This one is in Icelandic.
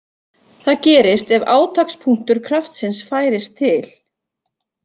Það gerist ef átakspunktur kraftsins færist til.